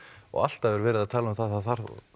og alltaf er verið að tala um að það þarf